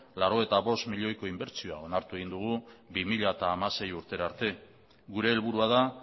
laurogeita bost milioiko inbertsioa onartu egin dugu bi mila hamasei urtera arte gure helburua da